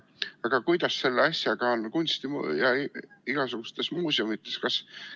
Aga kuidas selle asjaga on kunsti- ja igasugustes muudes muuseumites?